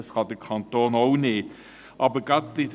Dies kann der Kanton auch nicht tun.